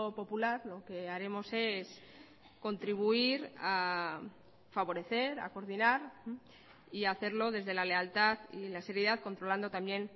popular lo que haremos es contribuir a favorecer a coordinar y a hacerlo desde la lealtad y la seriedad controlando también